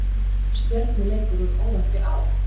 Stjörnuleikur úr óvæntri átt?